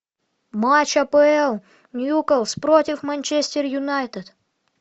матч апл ньюкасл против манчестер юнайтед